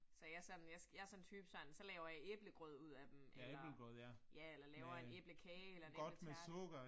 Så jeg sådan, jeg sådan en type sådan, så laver jeg æblegrød ud af dem eller ja, eller laver en æblekage eller en æbletærte